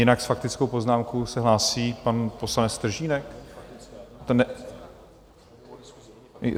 Jinak s faktickou poznámkou se hlásí pan poslanec Stržínek?